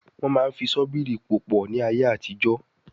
Wọ́n máa ń fi ṣọ́bìrì pò pọ̀ ní ayé àtijọ́